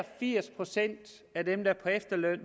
firs procent af dem der er på efterløn